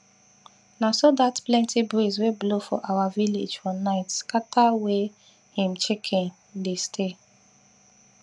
na so dat plenty breeze wey blow for our village for night scatter wey him chicken dey stay